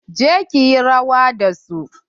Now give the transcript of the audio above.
Je ki yi rawa da su.